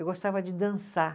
Eu gostava de dançar.